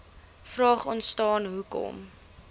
vraag ontstaan hoekom